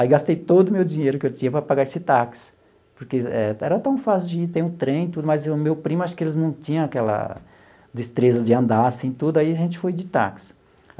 Aí gastei todo o meu dinheiro que eu tinha para pagar esse táxi, porque era tão fácil de ir, tem um trem e tudo, mas o meu primo, acho que eles não tinham aquela destreza de andar assim e tudo, aí a gente foi de táxi.